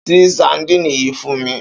Ṣí sadínì yìí fún mi!